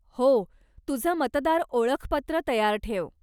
हो, तुझं मतदार ओळखपत्र तयार ठेव.